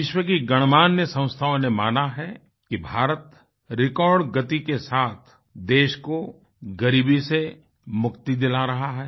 विश्व की गणमान्य संस्थाओं ने माना है कि भारत रिकॉर्ड गति के साथ देश को ग़रीबी से मुक्ति दिला रहा है